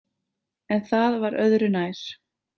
En það var öðru nær.